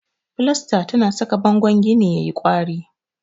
Filasta tana saka bangon gini yayi kwari.